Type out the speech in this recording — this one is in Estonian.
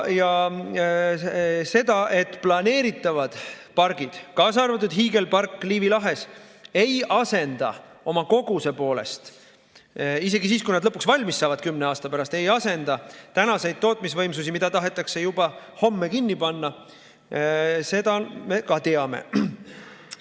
Seda, et planeeritavad pargid, kaasa arvatud hiigelpark Liivi lahes, ei asenda oma koguse poolest isegi siis, kui nad lõpuks kümne aasta pärast valmis saavad, tänaseid tootmisvõimsusi, mida tahetakse juba homme kinni panna, me ka teame.